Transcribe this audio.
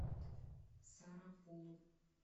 сарапулу